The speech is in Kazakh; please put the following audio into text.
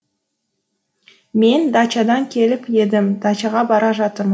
мен дачадан келіп едім дачаға бара жатырмын